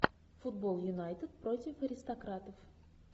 футбол юнайтед против аристократов